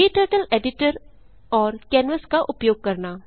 क्टर्टल editor और canvas का उपयोग करना